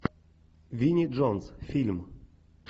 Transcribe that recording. винни джонс фильм